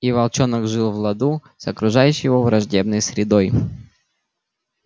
и волчонок жил в ладу с окружающей его враждебной средой